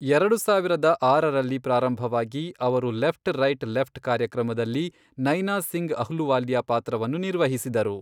ಎರಡು ಸಾವಿರದ ಆರರರಲ್ಲಿ ಪ್ರಾರಂಭವಾಗಿ, ಅವರು ಲೆಫ್ಟ್ ರೈಟ್ ಲೆಫ್ಟ್ ಕಾರ್ಯಕ್ರಮದಲ್ಲಿ ನೈನಾ ಸಿಂಗ್ ಅಹ್ಲುವಾಲಿಯಾ ಪಾತ್ರವನ್ನು ನಿರ್ವಹಿಸಿದರು.